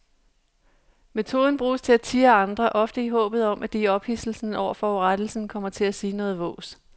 Metoden bruges til at tirre andre, ofte i håbet om at de i ophidselsen over forurettelsen kommer til at sige noget vås.